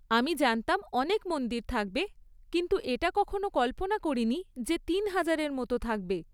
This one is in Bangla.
আমি জানতাম অনেক মন্দির থাকবে, কিন্তু এটা কখনও কল্পনা করিনি যে তিন হাজারের মতো থাকবে।